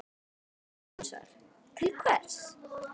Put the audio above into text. Hann sagði hinsvegar: Til hvers?